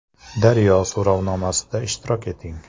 “Daryo” so‘rovnomasida ishtirok eting!